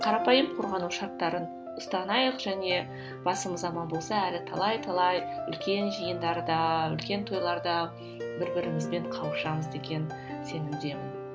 қарапайым қорғану шарттарын ұстанайық және басымыз аман болса әлі талай талай үлкен жиындарда үлкен тойларда бір бірімізбен қауышамыз деген сенімдемін